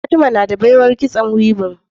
fatima nada baiwar kitson weaving